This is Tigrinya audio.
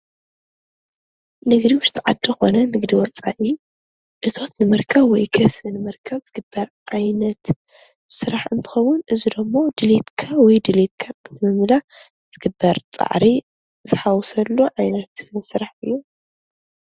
ንግዲ ዉሽጢ ዓዲ ኾነ ንግዲ ወፃኢ እቶት ንምርካብ ወይ ከስቢ ንምርካብ ዝግበር ዓይነት ስራሕ እንትኸዉን እዚ ደሞ ድሌትካ ወይ ድሌትካ ንምምላእ ዝግበር ፃዕሪ ዝሓወሰሉ ዓይነት ስራሕ እዩ፡፡